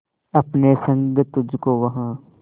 अपने संग तुझको वहां